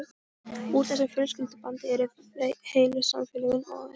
Úr þessu fjölskyldubandi eru heilu samfélögin ofin.